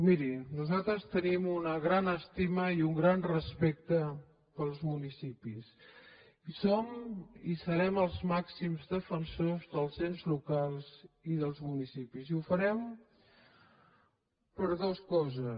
miri nosaltres tenim una gran estima i un gran respecte pels municipis i som i serem els màxims defensors dels ens locals i dels municipis i ho farem per dues coses